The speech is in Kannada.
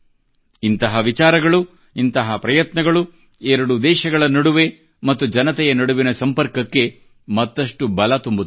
ಇಂತಹ ವಿಚಾರಗಳು ಇಂತಹ ಪ್ರಯತ್ನಗಳು ಎರಡು ದೇಶಗಳ ನಡುವೆ ಮತ್ತು ಜನತೆ ನಡುವಿನ ಸಂಪರ್ಕಕ್ಕೆ ಮತ್ತಷ್ಟು ಬಲ ತುಂಬುತ್ತವೆ